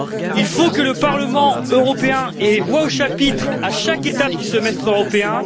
Il faut que le Parlement européen ait voix au chapitre à chaque étape du semestre européen.